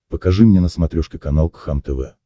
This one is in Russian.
покажи мне на смотрешке канал кхлм тв